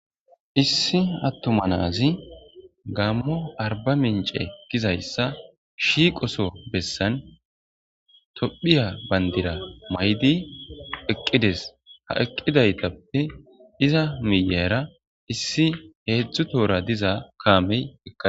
issi attuma na'azi gammo arbamince gizayssa shiqoso bessan tophphiya bandira mayidi eqqides ;ha eqqidaytappe iza miyera issi heedzdzu tohora diza kaameykka...